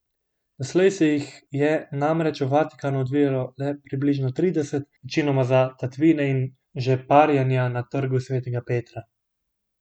Doslej se jih je namreč v Vatikanu odvijalo le približno trideset, večinoma za tatvine in žeparjenja na trgu svetega Petra.